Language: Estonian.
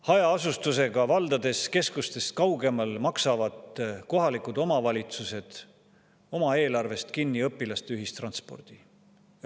Hajaasustusega valdades, keskustest kaugemal, maksavad kohalikud omavalitsused oma eelarvest kinni õpilaste ühistranspordi.